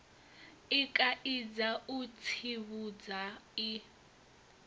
i kaidza u tsivhudza i